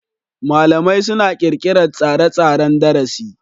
malamai suna ƙirƙirar tsare-tsaren darasi.